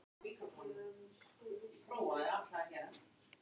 Rólant, hefur þú prófað nýja leikinn?